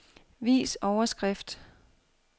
Vis overskrift.